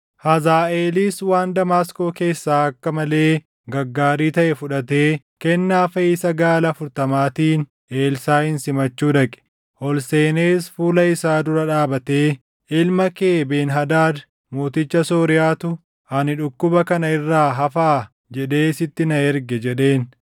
Hazaaʼeelis waan Damaasqoo keessaa akka malee gaggaarii taʼe fudhatee kennaa feʼiisa gaala afurtamaatiin Elsaaʼin simachuu dhaqe. Ol seenees fuula isaa dura dhaabatee, “Ilma kee Ben-Hadaad mooticha Sooriyaatu, ‘Ani dhukkuba kana irraa hafaa?’ jedhee sitti na erge” jedheen.